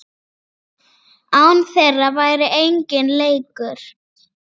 Án þeirra væri enginn leikur.